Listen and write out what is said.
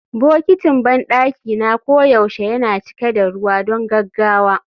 Bokitin banɗaki na koyaushe yana cika da ruwa don gaggawa